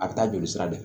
A bɛ taa jolisira de fɛ